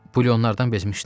Bulyonlardan bezmişdim.